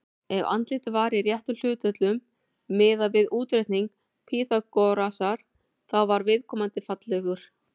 Ef andlitið var í réttum hlutföllum, miðað við útreikninga Pýþagórasar, þá var viðkomandi fallegur.